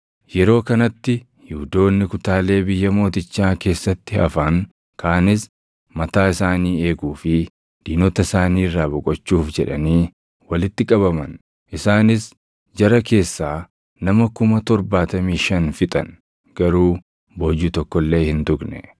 Yeroo kanatti Yihuudoonni kutaalee biyya mootichaa keessatti hafan kaanis mataa isaanii eeguu fi diinota isaanii irraa boqochuuf jedhanii walitti qabaman. Isaanis jara keessaa nama kuma torbaatamii shan fixan; garuu boojuu tokko illee hin tuqne.